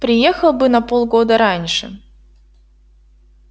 приехал бы на полгода раньше